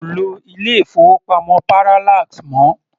Kò lo ilé-ìfowópamọ́ Parallax mọ́.